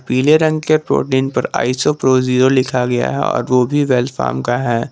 पीले रंग के प्रोटीन पर आइसो प्रो जीरो लिखा गया है और वो भी वेल फार्म का है।